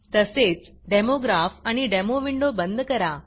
तसेच demo graph आणि demo window बंद करा